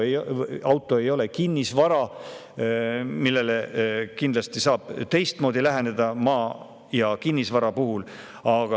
Auto ei ole kinnisvara, millele kindlasti saab teistmoodi läheneda, nagu maa ja kinnisvara puhul.